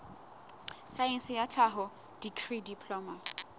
saense ya tlhaho dikri diploma